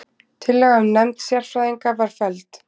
Tillaga um nefnd sérfræðinga var felld